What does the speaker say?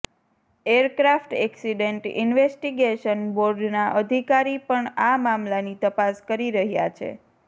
aircraft accident investigation બોર્ડના અધિકારી પણ આ મામલાની તપાસ કરી રહ્યા છે